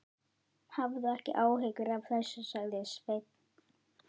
Hafðu ekki áhyggjur af þessu, sagði Sveinn.